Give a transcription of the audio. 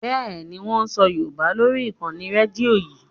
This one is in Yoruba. Bẹ́ẹ̀ni, wón ń sọ Yorùbá lórí ìkànnì Rédíò yí.